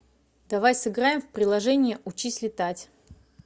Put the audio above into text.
давай сыграем в приложение учись летать